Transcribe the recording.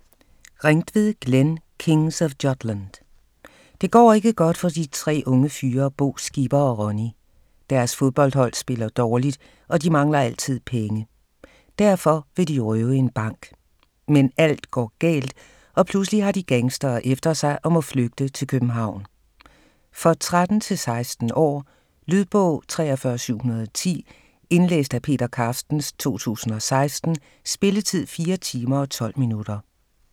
Ringtved, Glenn: Kings of Jutland Det går ikke godt for de tre unge fyre Bo, Skipper og Ronny. Deres fodboldhold spiller dårligt, og de mangler altid penge. Derfor vil de røve en bank. Men alt går galt og pludselig har de gangstere efter sig og må flygte til København. For 13-16 år. Lydbog 43710 Indlæst af Peter Carstens, 2016. Spilletid: 4 timer, 12 minutter.